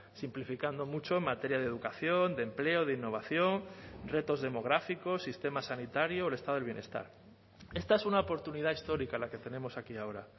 simplificando mucho en materia de educación de empleo de innovación retos demográficos sistema sanitario o el estado del bienestar esta es una oportunidad histórica la que tenemos aquí ahora